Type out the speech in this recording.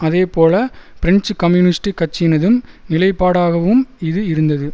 அதேபோல French communist கட்சியினதும் நிலைப்பாடாகவும் இது இருந்தது